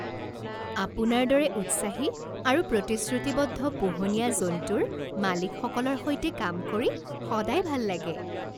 আপোনাৰ দৰে উৎসাহী আৰু প্ৰতিশ্ৰুতিবদ্ধ পোহনীয়া জন্তুৰ মালিকসকলৰ সৈতে কাম কৰি সদায় ভাল লাগে।